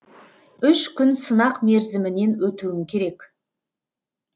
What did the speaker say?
үш күн сынақ мерзімінен өтуім керек